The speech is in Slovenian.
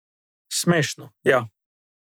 Smešno, ja.